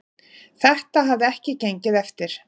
Þetta hafi ekki gengið eftir.